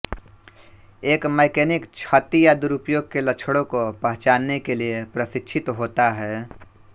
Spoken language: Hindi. एक मैकेनिक क्षति या दुरुपयोग के लक्षणों को पहचानने के लिए प्रशिक्षित होता है